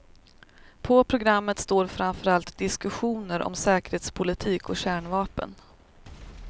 På programmet står framförallt diskussioner om säkerhetspolitik och kärnvapen.